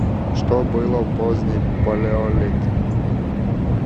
что было в поздний палеолит